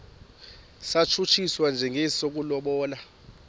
satshutshiswa njengesi sokulobola